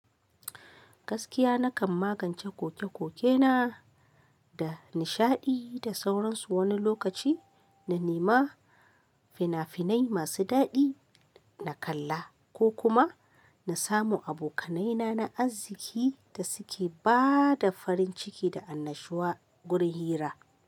Gaskiya nakan magance koke-kokena da nishaɗi da sauran su wani lokaci na nema fina finai mai daɗi na kalla ko kuma na samo abokanaina na arziki da suke ba da farin ciki da annashuwa gurin hira.